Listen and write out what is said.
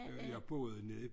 Jeg boede nede i